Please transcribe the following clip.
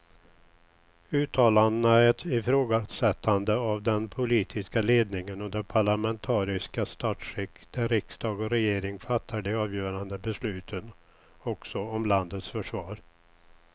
Uttalandena är ett ifrågasättande av den politiska ledningen och det parlamentariska statsskick där riksdag och regering fattar de avgörande besluten också om landets försvar.